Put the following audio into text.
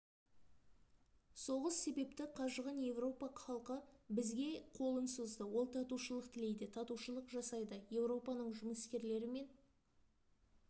соғыс себепті қажыған еуропа халқы бізге қолын созды ол татушылық тілейді татушылық жасайды еуропаның жұмыскерлер мен